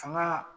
Fanga